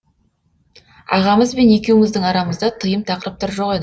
ағамыз бен екеуіміздің арамызда тыйым тақырыптар жоқ ед